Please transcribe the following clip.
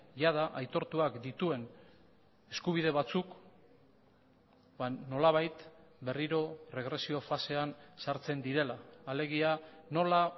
jada aitortuak dituen eskubide batzuk nolabait berriro erregresio fasean sartzen direla alegia nola